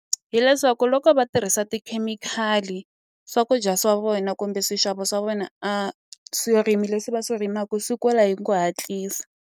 Hi leswaku loko va tirhisa tikhemikhali swakudya swa vona kumbe swixavo swa vona a swirimi leswi va swi rimaku swi kula hi ku hatlisa.